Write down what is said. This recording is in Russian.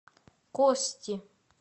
кости